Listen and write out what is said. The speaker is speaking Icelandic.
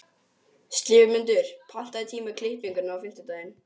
slefmundur, pantaðu tíma í klippingu á fimmtudaginn.